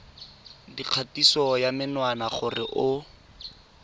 dikgatiso ya menwana gore o